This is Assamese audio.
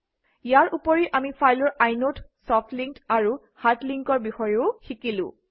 ইয়াৰ উপৰি আমি ফাইলৰ ইনদে ছফ্ট লিংক আৰু হাৰ্ড link অৰ বিষয়েও শিকিলো